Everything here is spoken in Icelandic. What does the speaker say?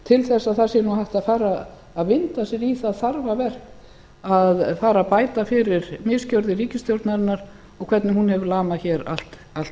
til þess að það sé nú hægt að fara að vinda sér í það þarfaverk að fara að bæta fyrir misgjörðir ríkisstjórnarinnar og hvernig hún hefur lamað hér allt